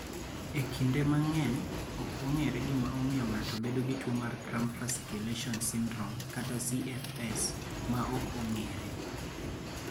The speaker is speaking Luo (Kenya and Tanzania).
E kinde mang�eny, ok ong�ere gima omiyo ng�ato bedo gi tuo mar Cramp fasciculation syndrome (CFS) ) (ma ok ong�ere).